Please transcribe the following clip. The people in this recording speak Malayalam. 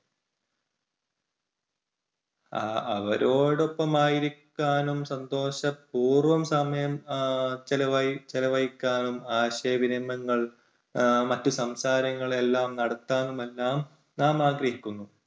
അ~അവരോടൊപ്പം ആയിരിക്കാനും സന്തോഷപൂർവ്വം ആഹ് സമയം ചെലവഴി~ചെലവഴിക്കാനും ആശയവിനിമയങ്ങൾ എഹ് മറ്റ് സംസാരങ്ങൾ എല്ലാം നടത്താനും എല്ലാം നാം ആഗ്രഹിക്കുന്നു.